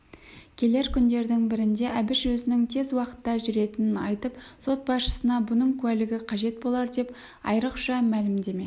келер күндердің бірінде әбіш өзінің тез уақытта жүретінін айтып сот басшысына бұның куәлігі қажет болар деп айрықша мәлімдеме